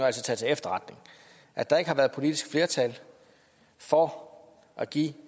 altså tage til efterretning at der ikke har været politisk flertal for at give